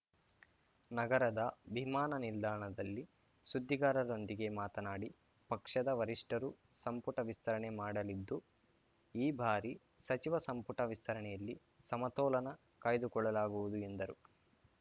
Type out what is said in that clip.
ನಗರದ ವಿಮಾನ ನಿಲ್ದಾಣದಲ್ಲಿ ಸುದ್ದಿಗಾರರೊಂದಿಗೆ ಮಾತನಾಡಿ ಪಕ್ಷದ ವರಿಷ್ಠರು ಸಂಪುಟ ವಿಸ್ತರಣೆ ಮಾಡಲಿದ್ದು ಈ ಬಾರಿ ಸಚಿವ ಸಂಪುಟ ವಿಸ್ತರಣೆಯಲ್ಲಿ ಸಮತೋಲನ ಕಾಯ್ದುಕೊಳ್ಳಲಾಗುವುದು ಎಂದರು